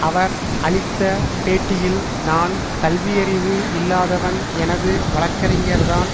அவர் அளித்த பேட்டியில் நான் கல்வியறிவு இல்லாதவன் எனது வழக்கறிஞர்தான்